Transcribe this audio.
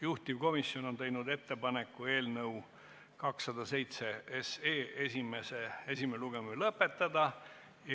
Juhtivkomisjon on teinud ettepaneku eelnõu 207 esimene lugemine lõpetada.